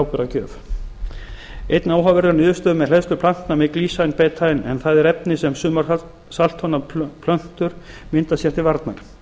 áburðargjöf enn áhugaverðari eru niðurstöður með hleðslu plantna með glycine betaine en það er efni sem sumar saltþolnar plöntur mynda sér til varnar